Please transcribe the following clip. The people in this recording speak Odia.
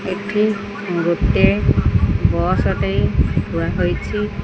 ଏଠି ଗୋଟେ ବସ୍ ଟେ ଥୁଆ ହୋଇଛି।